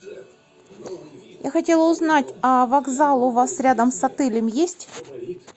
я хотела узнать а вокзал у вас рядом с отелем есть